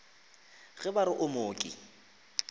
ge ba re o mooki